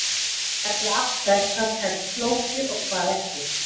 Það er því afstætt hvað telst flókið og hvað ekki.